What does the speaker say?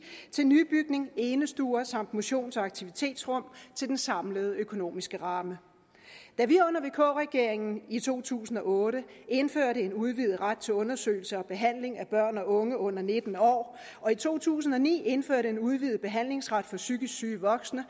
til nybygning enestuer samt motions og aktivitetsrum til den samlede økonomiske ramme da vi under vk regeringen i to tusind og otte indførte en udvidet ret til undersøgelse og behandling af børn og unge under nitten år og i to tusind og ni indførte en udvidet behandlingsret for psykisk syge voksne